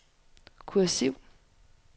kursiv